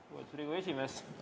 Lugupeetud Riigikogu esimees!